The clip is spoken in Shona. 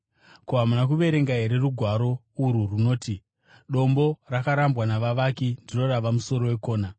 Ko, hamuna kuverenga here rugwaro urwu runoti: “ ‘Dombo rakarambwa navavaki ndiro rava musoro wekona;